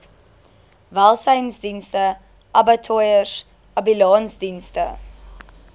welsynsdienste abattoirs ambulansdienste